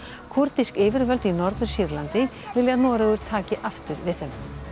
kúrdísk yfirvöld í Norður Sýrlandi vilja að Noregur taki aftur við þeim